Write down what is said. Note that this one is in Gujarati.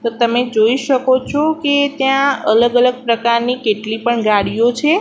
તો તમે જોઈ શકો છો કે ત્યાં અલગ અલગ પ્રકારની કેટલી પણ ગાડીઓ છે.